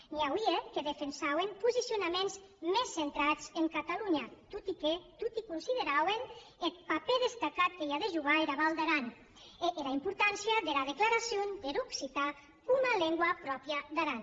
n’i auie que defensauen posicionaments mès centrats en catalonha tot e que toti considerauen eth papèr destacat que i a de jogar era val d’aran e era importància dera declaracion der occitan coma lengua pròpria d’aran